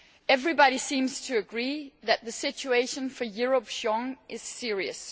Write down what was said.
Everybody seems to agree that the situation for Europe's young is serious.